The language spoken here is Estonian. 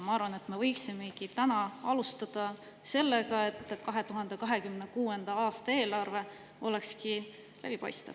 Ma arvan, et me võiksimegi täna sellega, et 2026. aasta eelarve oleks läbipaistev.